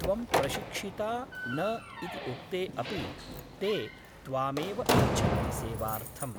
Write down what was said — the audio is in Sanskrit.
त्वं प्रशिक्षिता न इति उक्ते अपि ते त्वामेव इच्छन्ति सेवार्थम् !